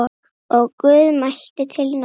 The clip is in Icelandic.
Og Guð mælti til Nóa